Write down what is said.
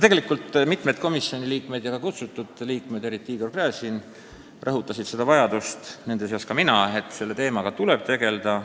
Tegelikult mitmed komisjoni liikmed, nende seas ka mina, samuti kutsutud rahvasaadikud, eriti Igor Gräzin, rõhutasid vajadust selle teemaga tegelda.